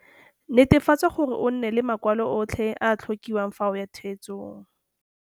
Netefatsa gore o nne le makwalo otlhe a a ka tlhokiwang fa o ya theetsong.